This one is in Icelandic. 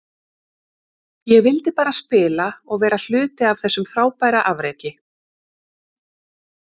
Ég vildi bara spila og vera hluti af þessu frábæra afreki.